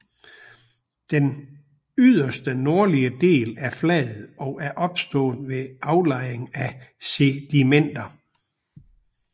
Den yderste nordlige del er flad og er opstået ved aflejring af sedimenter